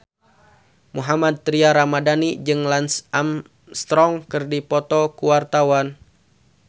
Mohammad Tria Ramadhani jeung Lance Armstrong keur dipoto ku wartawan